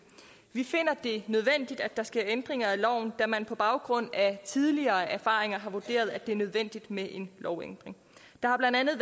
vi finder det nødvendigt at der sker ændringer af lovene da man på baggrund af tidligere erfaringer har vurderet at det er nødvendigt med en lovændring der har blandt andet